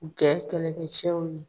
Jɛ kɛlɛkɛcɛw ye.